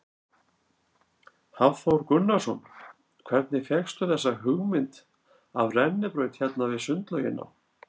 Hafþór Gunnarsson: Hvernig fékkstu þessa hugmynd af rennibraut hérna við sundlaugina?